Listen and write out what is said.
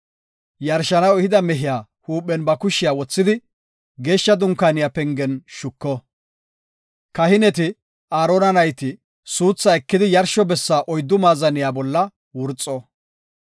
Yarshanaw ehida mehiya huuphen ba kushiya wothidi Geeshsha Dunkaaniya pengen shuko. Kahineti, Aarona nayti suuthaa ekidi yarsho bessa oyddu maazaniya bolla wurxo.